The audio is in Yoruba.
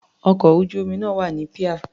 Ọkọ̀ ojú-omi náà wà ní píà.